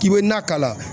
K'i bɛ na k'a la